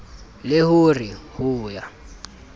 le ho re ho ya